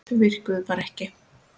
Þau virkuðu bara ekki.